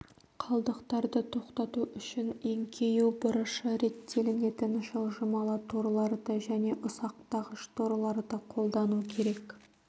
қалдықтарды тоқтату үшін еңкею бұрышы реттелінетін жылжымалы торларды және ұсақтағыш-торларды қолдану керек